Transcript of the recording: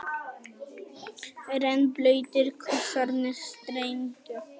Rennblautir kossarnir streymdu.